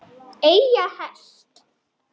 Eiga hest.